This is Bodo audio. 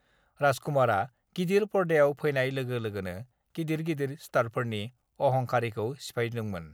राज कुमारआ गिदिर पर्दायाव फैनाय लोगो लोगोनो गिदिर-गिदिर स्टारफोरनि अहंखारिखौ सिफायदोंमोन।